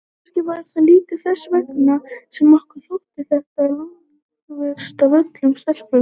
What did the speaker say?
Kannski var það líka þess vegna sem okkur þótti þetta langverst af öllum stelpunum.